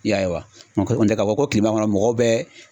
I y'a ye wa nga ko koni tɛ ka fɔ ko kilema kɔnɔ mɔgɔw bɛ